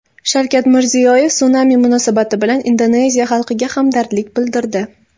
Shavkat Mirziyoyev sunami munosabati bilan Indoneziya xalqiga hamdardlik bildirdi.